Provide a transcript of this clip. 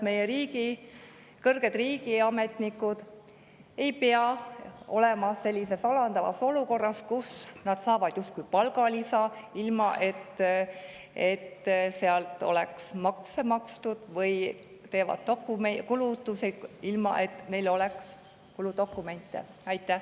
Meie kõrged riigiametnikud ei pea olema sellises alandavas olukorras, kus nad justkui saavad palgalisa, ilma et sellelt oleks maksud makstud, või teevad kulutusi, ilma et neil oleksid kuludokumendid.